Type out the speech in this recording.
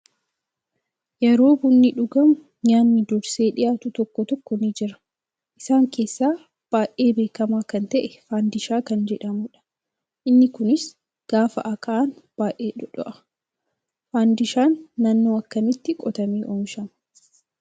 Yeroo bunni dhugamu nyaanni dursee dhiyaatu tokko tokko ni jira. Isaan keessaa baay'ee beekamaa kan ta'e faandishaa kan jedhamudha. Inni kunis gaafa akaa'an baay'ee dhdodho'a. Fandishaan naannoo akkamiitti qotamee oomishamaa?